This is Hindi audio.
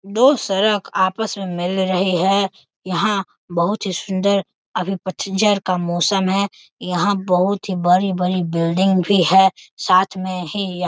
दो सड़क आपस में मिल रहे है यहां बहुत ही सुन्‍दर अभी पतझड़ का मौसम है यहां बहुत ही बड़ी-बड़ी बिल्डिंग भी हैं साथ मे ही यह --